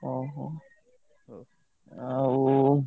ଅହୋ! ଆଉ।